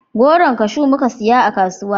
Goron kashu muka saya a kasuwa